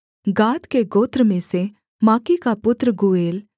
गाद के गोत्र में से माकी का पुत्र गूएल